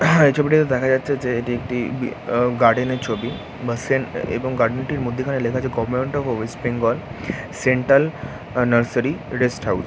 হা এই ছবিটিতে দেখা যাচ্ছে যে এটি একটি ব আ গার্ডেন -এর ছবি বা সেন্ট এবং গার্ডেন -টির মধ্যিখানে লেখা আছে government of West Bengal central অ নার্সারি রেস্ট হাউস ।